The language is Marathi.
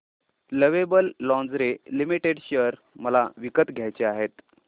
लवेबल लॉन्जरे लिमिटेड शेअर मला विकत घ्यायचे आहेत